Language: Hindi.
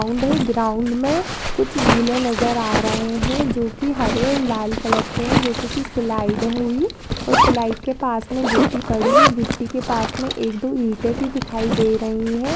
ग्राउंड है ग्राउंड में कुछ झूले नजर आ रहे है जो की हरे और लाल कलर के है जैसे की स्लाइड हुई और स्लाइड के पास में गिटी पड़ी हुई गिटी के पास में एक दो ईंटे भी दिखाई दे रही हैं।